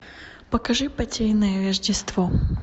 покажи потерянное рождество